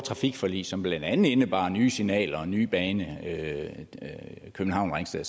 trafikforlig som blandt andet indebar nye signaler og en ny bane københavn ringsted